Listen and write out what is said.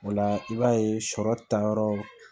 O la i b'a ye sɔrɔ ta yɔrɔ